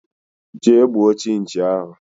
Jee gbuo chinchi ahụ!!!